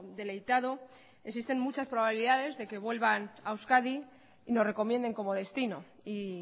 deleitado existen muchas probabilidades de que vuelvan a euskadi y nos recomienden como destino y